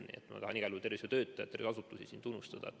Nii et ma tahan igal juhul tervishoiutöötajaid ja -asutusi siin tunnustada.